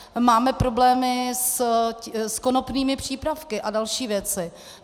Máme problémy s konopnými přípravky a další věci.